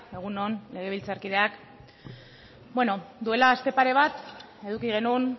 egun on legebiltzarkideak bueno duela aste pare bat eduki genuen